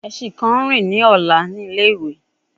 Ẹṣin kan nrin ni ọla ni ile-iwe